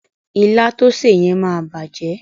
Ilá to sè yẹn máa bàjẹ́.